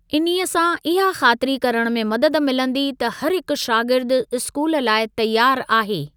इन्हीअ सां इहा ख़ातिरी करण में मदद मिलंदी त हरहिकु शागिर्दु स्कूल लाइ तयारु आहे।